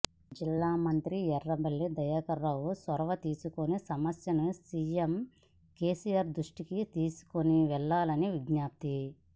జిల్లా మంత్రి ఎర్రబెల్లి దయాకర్రావు చొరవ తీసుకుని సమస్యను సీఎం కేసీఆర్ దృష్టికి తీసుకుని వెళ్లాలని విజ్ఞప్తి